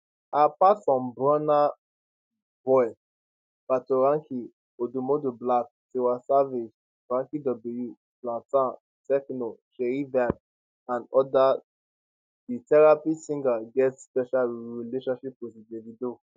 apart from bruna boy patoranking oudoumodu black tiwa savage banky w zlatan tekno seyi vibez and odas di therapy singer get special relationship wit davido